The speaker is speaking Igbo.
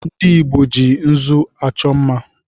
Ndị Igbo ji nzụ achọ mma